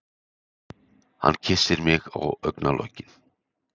Hann kyssir mig á augnalokin.